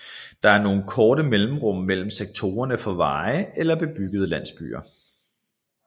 Der er nogle korte mellemrum mellem sektorerne for veje eller bebyggede landsbyer